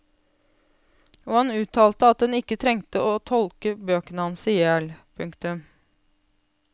Og han uttalte at en trengte ikke tolke bøkene hans ihjel. punktum